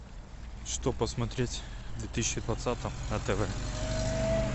что посмотреть в две тысячи двадцатом на тв